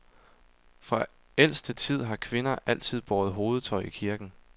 Fra ældste tid har kvinder altid båret hovedtøj i kirken.